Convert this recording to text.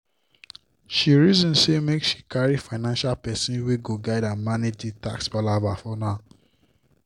she reason say make she carry financial person wey go guide her manage the tax palava for now